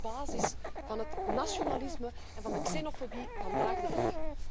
Want dat is de basis van het nationalisme en van de xenofobie vandaag de dag.